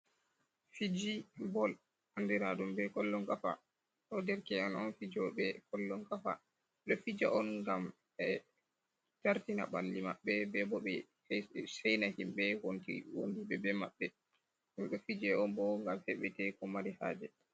Fiji ɓe bol andiraɗum be kollon gafa. Ɗo'o derke'en on fijoɓe Kollon gafa ɗo fija'on ngam ɓe jartina ɓalli mabɓe.Be bo ɓe Seina himɓe wondiɓe be mabɓe. Ɗum ɗo fije'onbo ngam heɓete ko mari haje.